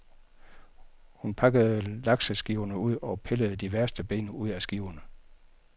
Hun pakkede lakseskiverne ud og pillede de værste ben ud af skiverne.